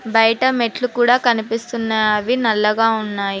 బయట మెట్లు కూడా కనిపిస్తున్నావి నల్లగా ఉన్నాయి.